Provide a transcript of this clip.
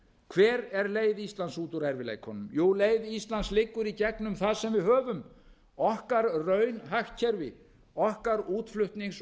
hver er leið íslands út úr erfiðleikunum jú leið íslands liggur í gegnum það sem við höfum okkar raunhagkerfi okkar útflutnings